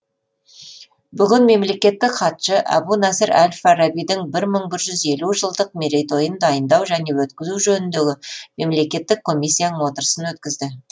бүгін мемлекеттік хатшы әбу насыр әл фарабидің бір мың бір жүз елу жылдық мерейтойын дайындау және өткізу жөніндегі мемлекеттік комиссияның отырысын өткізді